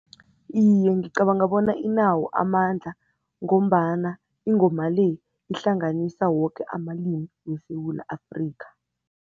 Iye, ngicabanga bona inawo amandla ngombana ingoma le ihlanganisa woke amalimi weSewula Afrika.